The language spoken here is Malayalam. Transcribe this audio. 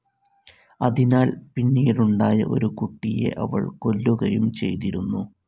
അതിനാൽ പിന്നീടുണ്ടായ ഒരു കുട്ടിയെ അവൾ കൊല്ലുകയും ചെയ്തിരുന്നു.